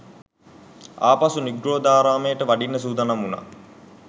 ආපසු නිග්‍රෝධාරාමයට වඩින්න සූදානම් වුනා